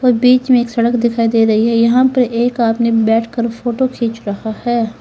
और बीच में एक सड़क दिखाई दे रही है यहां पर एक आदमी बैठ कर फोटो खींच रहा है।